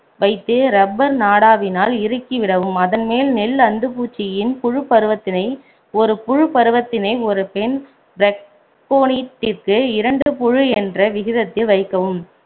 வைத்து rubber நாடாவினால் இறுக்கி விடவும் அதன் மேல் நெல் அந்துப்பூச்சியின் புழுப்பருவத்தினை ஒரு புழுப்பருவத்தினை ஒரு பெண் பிரக்கோனிட்டிற்கு இரண்டு புழு என்ற விகிதத்தில் வைக்கவும்